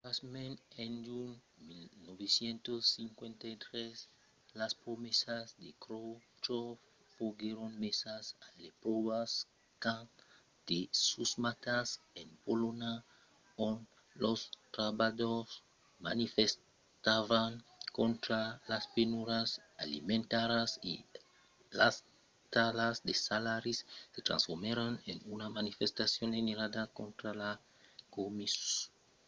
pasmens en junh de 1956 las promesas de khroshchòv foguèron mesas a l'espròva quand de susmautas en polonha ont los trabalhadors manifestavan contra las penurias alimentàrias e las talhadas de salaris se transformèron en una manifestacion generala contra lo comunisme